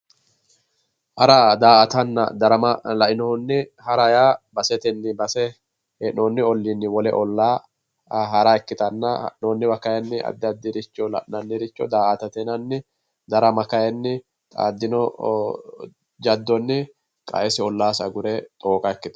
Hara, daa"atanna darama lainohunni, hara yaa basetenni base, hee'noonni olliinni wole ollaa hara ikkitanna, hara kaayiinni addi addiricho la'nanni, darama kaayiinni illitino jaddonni qaesi ollaasi agure xooqa ikkitanno.